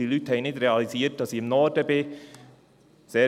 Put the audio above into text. Die Leute hatten nicht realisiert, dass ich im Norden war.